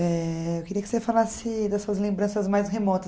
Eh eu queria que você falasse das suas lembranças mais remotas.